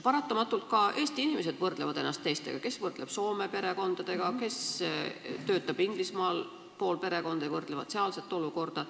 Paratamatult võrdlevad Eesti inimesed ennast teistega, kes võrdleb Soome perekondadega, kellelgi töötab pool perekonda Inglismaal ja ta võrdleb sealse olukorraga.